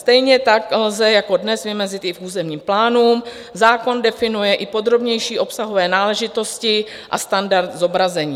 Stejně tak lze jako dnes vymezit i v územním plánu, zákon definuje i podrobnější obsahové náležitosti a standard zobrazení.